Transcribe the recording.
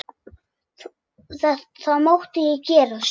Það mátti ekki gerast.